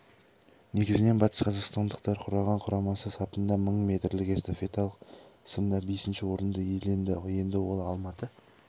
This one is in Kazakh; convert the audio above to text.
негізін батысқазақстандықтар құраған құрамасы сапында мың метрлік эстафеталық сында бесінші орынды иеленді енді ол алматы